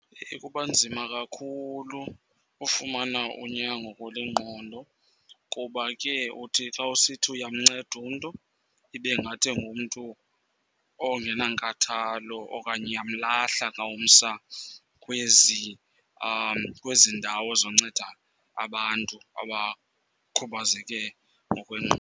Kuba nzima kakhulu ufumana unyango kule ngqondo kuba ke uthi xa usithi uyamnceda umntu ibe ngathi ungumntu or ungenankathalo okanye yamlahla xa umsa kwezi ndawo nozonceda abantu abakhubazeke ngokwengqondo